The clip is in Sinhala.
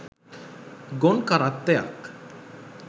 ගොන් කරත්තයක්.